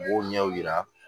U b'o ɲɛw yira